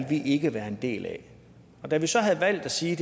vi ikke være en del af da vi så havde valgt at sige